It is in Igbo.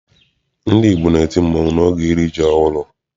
Ndị Igbo na-eti mmanwụ n'oge iri ji ọhụrụ.